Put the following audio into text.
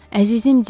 Əzizim Dik.